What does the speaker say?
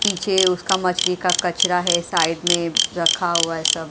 पीछे उसका मछली का कचरा है साइड में रखा हुआ है सब।